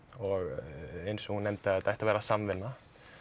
og eins og hún nefndi að þetta ætti að vera samvinna